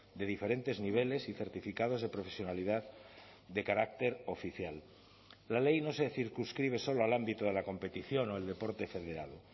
de diferentes niveles y certificados de profesionalidad de carácter oficial la ley no se circunscribe solo al ámbito de la competición o el deporte federado